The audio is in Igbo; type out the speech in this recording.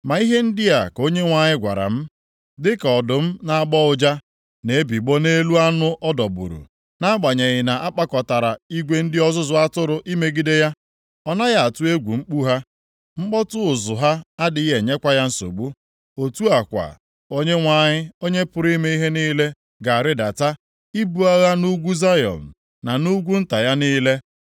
Ma ihe ndị a ka Onyenwe anyị gwara m, “Dịka ọdụm na-agbọ ụja, na-ebigbọ nʼelu anụ ọ dọgburu, nʼagbanyeghị na-akpọkọtara igwe ndị ọzụzụ atụrụ imegide ya, ọ naghị atụ egwu mkpu ha, mkpọtụ ụzụ ha adịghị enyekwa ya nsogbu, Otu a kwa, Onyenwe anyị, Onye pụrụ ime ihe niile ga-arịdata ibu agha nʼugwu Zayọn, na nʼugwu nta ya niile.